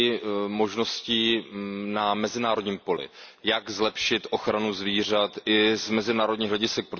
a možnostmi na mezinárodním poli, jak zlepšit ochranu zvířat i z mezinárodních hledisek.